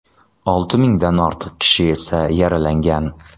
Olti mingdan ortiq kishi esa yaralangan.